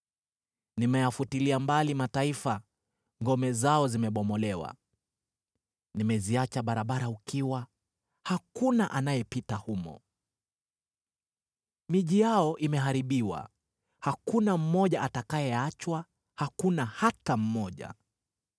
“Nimeyafutilia mbali mataifa, ngome zao zimebomolewa. Nimeziacha barabara ukiwa, hakuna anayepita humo. Miji yao imeharibiwa; hakuna mmoja atakayeachwa: hakuna hata mmoja.